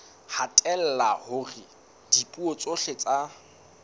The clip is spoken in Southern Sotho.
hatella hore dipuo tsohle tsa